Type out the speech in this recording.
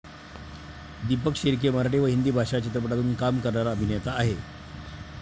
दीपक शिर्के' मराठी व हिंदी भाषा चित्रपटांतून काम करणारा अभिनेता आहे.